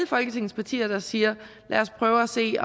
folketingets partier der siger at lad os prøve at se